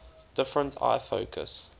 different eye focus